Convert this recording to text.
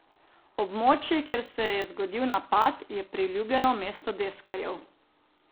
Območje, kjer se je zgodil napad, je priljubljeno mesto deskarjev.